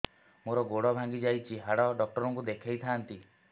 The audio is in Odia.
ମୋର ଗୋଡ ଭାଙ୍ଗି ଯାଇଛି ହାଡ ଡକ୍ଟର ଙ୍କୁ ଦେଖେଇ ଥାନ୍ତି